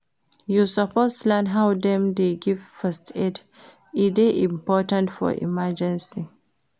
You suppose learn how dem dey give first aid, e dey important for emergency.